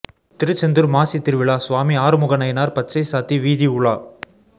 திருச்செந்தூர் மாசி திருவிழா சுவாமி ஆறுமுகநயினார் பச்சை சாத்தி வீதி உலா